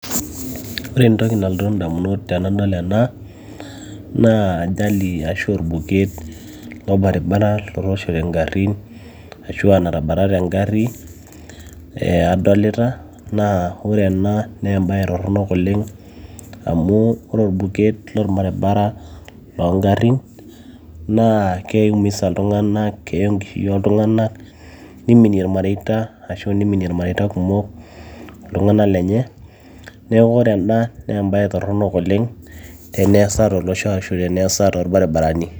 ore entoki nalotu indamunot tenadol ena naa ajali ashu orbuket lorbaribara lotooshote ingarrin ashua natabatate engarri eh, adolita naa ore ena naa embaye torronok oleng amu ore orbuket lorbaribara loongarrin naa keiumisa iltung'anak keya enkishui oltung'anak niminie irmareita ashu niminie irmareita kumok iltung'ana lenye neeku ore ena naa embaye torronok oleng teneesa tolosho ashu teneesa torbaribarani.